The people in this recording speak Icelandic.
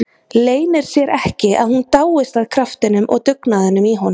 Leynir sér ekki að hún dáist að kraftinum og dugnaðinum í honum.